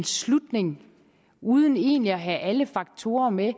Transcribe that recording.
slutning uden egentlig at have alle faktorer med